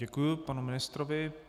Děkuji panu ministrovi.